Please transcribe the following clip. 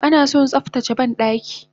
Anason tsaftace bandaki